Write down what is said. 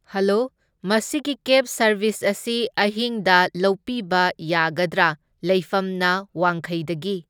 Hello, ꯃꯁꯤꯒꯤ cab service ꯑꯁꯤ ꯑꯍꯤꯡꯗ ꯂꯧꯄꯤꯕ ꯌꯥꯒꯗ꯭ꯔꯥ? ꯂꯩꯐꯝꯅ ꯋꯥꯡꯈꯩꯗꯒꯤ꯫